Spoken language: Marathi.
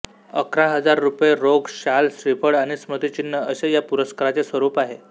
अकरा हजार रुपये रोख शाल श्रीफळ आणि स्मृतिचिन्ह असे या पुरस्काराचे स्वरूप आहे